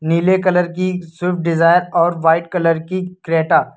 नीले कलर की Swift Dzire और व्हाइट कलर की क्रेटा ।